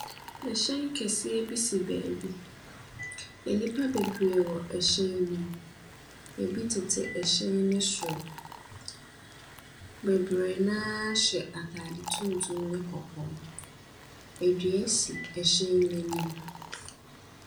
Ɛhyɛn kɛseɛ bi si beebi. Enipa bebree wɔ ɛhyɛn ne mu. Ebi tete ɛhyɛn ne soro. Bebree naa hyɛ ataade tuntum ne kɔkɔɔ. Edua si ɛhyɛn n'enim.